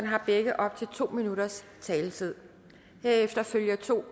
har begge op til to minutters taletid herefter følger to